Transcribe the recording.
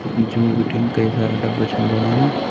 जूं बिटिन कई सारा डब्बा छन बणाया।